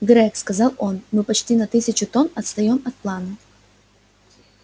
грег сказал он мы почти на тысячу тонн отстаём от плана